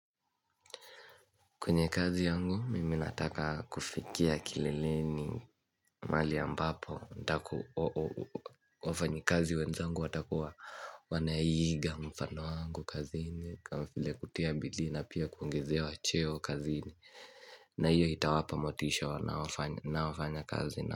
Kwenye kazi yangu mimi nataka kufikia kileleni mahali ambapo wafanyikazi wenzangu watakuwa wanaiiga mfano wangu kazi hii kama vile kutia bidii na pia kuongezewa cheo kazini na hiyo itawapa motisha na wafanya kazi na.